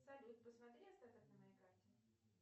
салют посмотри остаток на моей карте